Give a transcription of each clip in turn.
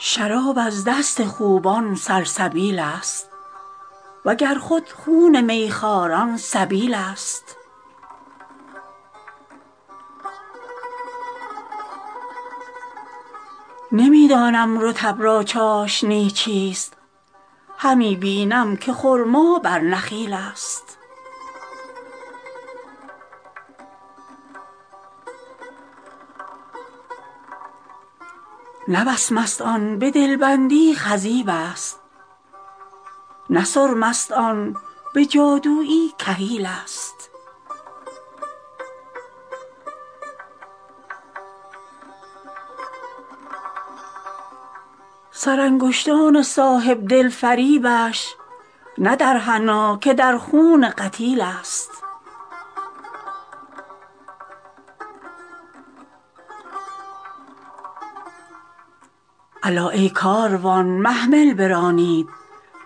شراب از دست خوبان سلسبیل ست و گر خود خون می خواران سبیل ست نمی دانم رطب را چاشنی چیست همی بینم که خرما بر نخیل ست نه وسمست آن به دل بندی خضیب ست نه سرمست آن به جادویی کحیل ست سرانگشتان صاحب دل فریبش نه در حنا که در خون قتیل ست الا ای کاروان محمل برانید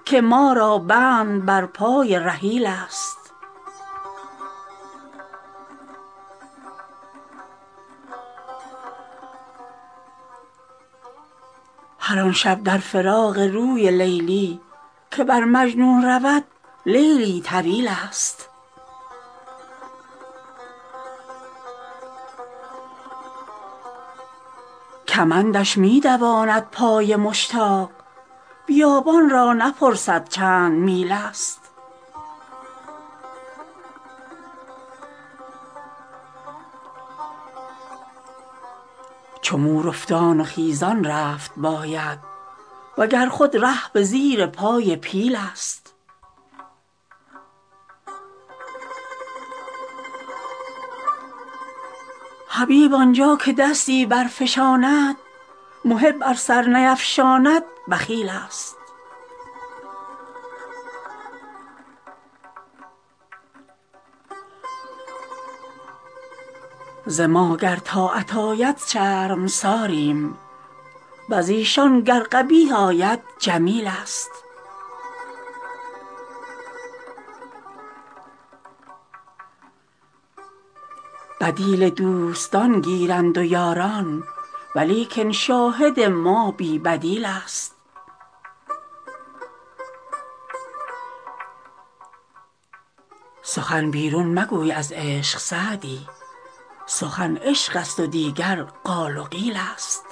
که ما را بند بر پای رحیل ست هر آن شب در فراق روی لیلی که بر مجنون رود لیلی طویل ست کمندش می دواند پای مشتاق بیابان را نپرسد چند میل ست چو مور افتان و خیزان رفت باید و گر خود ره به زیر پای پیل ست حبیب آن جا که دستی برفشاند محب ار سر نیفشاند بخیل ست ز ما گر طاعت آید شرمساریم و ز ایشان گر قبیح آید جمیل ست بدیل دوستان گیرند و یاران ولیکن شاهد ما بی بدیل ست سخن بیرون مگوی از عشق سعدی سخن عشق ست و دیگر قال و قیل ست